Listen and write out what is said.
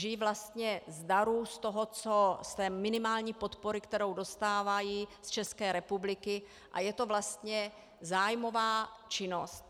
Žijí vlastně z darů, z té minimální podpory, kterou dostávají z České republiky, a je to vlastně zájmová činnost.